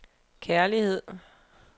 kærlighed